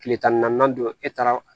Kile tan ni naani don e taara